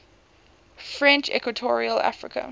french equatorial africa